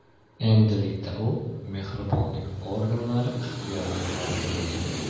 Endilikda u mehribonlik organlari ixtiyoriga topshirildi.